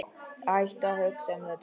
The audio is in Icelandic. Hættu að hugsa um þetta.